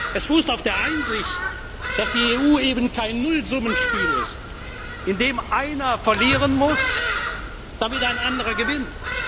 es fußt auf der Einsicht, dass die EU eben kein Nullsummenspiel ist, in dem einer verlieren muss, damit ein anderer gewinnt.